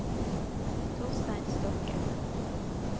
Torstein Stokke